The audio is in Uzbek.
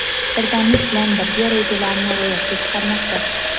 birdamlik bilan barcha rejalarini ro‘yobga chiqarmoqda.